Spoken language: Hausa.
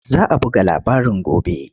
Za a buga labarin gobe.